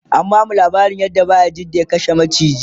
an bamu laabarin yadda bayajidda ya kashe maciki